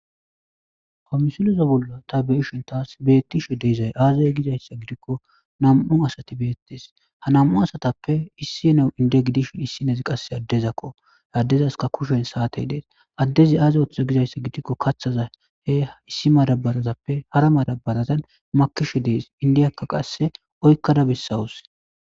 Ha misileza bolla ta be'ishin tas betizay azee gikon nam'u asatako ha nam'u asatappe issiniya info gidishin issinozi qaseka addeko tani beyishin addezi kaathi issi madabarappe hara madabara shirred indiya qaseka izas oykada besawus.